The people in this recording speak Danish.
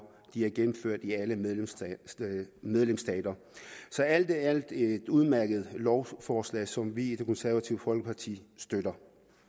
de er gennemført i alle medlemsstater så alt i alt et udmærket lovforslag som vi i det konservative folkeparti støtter